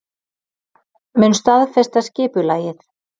Mun staðfesta skipulagið